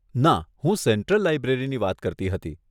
ના, હું સેન્ટ્રલ લાઈબ્રેરીની વાત કરતી હતી.